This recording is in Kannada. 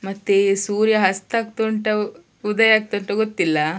ಮತ್ತೆ ಸೂರ್ಯ ಅಸ್ತ ಆಗ್ತ ಉಂಟಾ ಉದಯ ಆಗ್ತಾ ಉಂಟಾ ಗೊತ್ತಿಲ್ಲ.